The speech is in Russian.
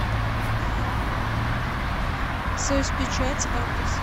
союзпечать адрес